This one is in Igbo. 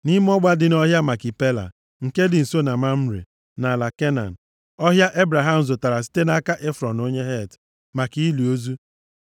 Nʼime ọgba dị nʼọhịa Makipela, nke dị nso na Mamre, nʼala Kenan, ọhịa Ebraham zụtara site nʼaka Efrọn onye Het, maka ili ozu.